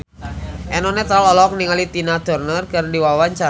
Eno Netral olohok ningali Tina Turner keur diwawancara